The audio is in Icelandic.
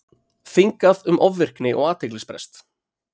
Þingað um ofvirkni og athyglisbrest